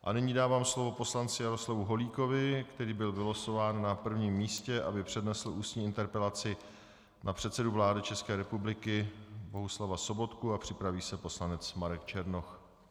A nyní dávám slovo poslanci Jaroslavu Holíkovi, který byl vylosován na prvním místě, aby přednesl ústní interpelaci na předsedu vlády České republiky Bohuslava Sobotku, a připraví se poslanec Marek Černoch.